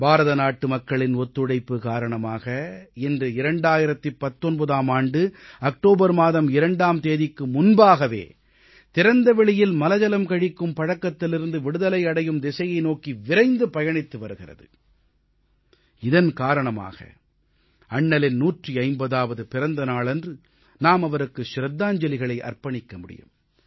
பாரதநாட்டு மக்களின் ஒத்துழைப்பு காரணமாக இன்று 2019ஆம் ஆண்டு அக்டோபர் மாதம் 2ஆம் தேதிக்கு முன்பாகவே திறந்த வெளியில் மலஜலம் கழிக்கும் பழக்கத்திலிருந்து விடுதலை அடையும் திசையை நோக்கி விரைந்து பயணித்து வருகிறது இதன் காரணமாக அண்ணலின் 150ஆவது பிறந்த நாளன்று நாம் அவருக்கு சிரத்தாஞ்சலிகளை அர்ப்பணிக்க முடியும்